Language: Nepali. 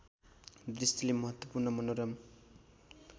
दृष्टिले महत्त्वपूर्ण मनोरम